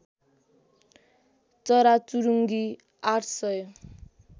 चराचुरुङ्गी ८ सय